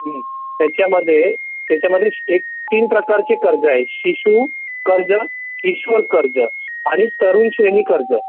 ह्मम त्याचमध्ये त्याचमध्ये तीन प्रकार चे कर्ज आहेत शिशु कर्ज , किशोर कर्ज आणि तरुण श्रेणी कर्ज